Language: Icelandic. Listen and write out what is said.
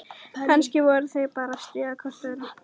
Kannski voru þau bara að stríða hvort öðru.